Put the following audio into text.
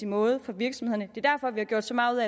måde for virksomhederne er derfor vi har gjort så meget